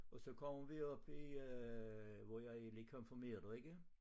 Og så kommer vi op i øh hvor jeg er lige konfirmeret ikke